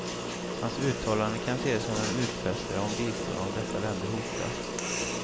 Hans uttalande kan ses som en utfästelse om bistånd om dessa länder hotas.